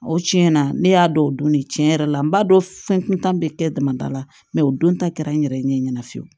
O tiɲɛna ne y'a dɔn o don ne tiɲɛ yɛrɛ la n b'a dɔn fɛn kuntan bɛ kɛ damada la mɛ o don ta kɛra n yɛrɛ ɲɛ ɲɛna fiyewu